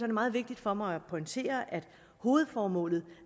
det meget vigtigt for mig at pointere at hovedformålet